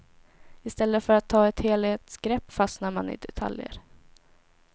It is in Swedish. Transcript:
I stället för att ta ett helhetsgrepp fastnar man i detaljer.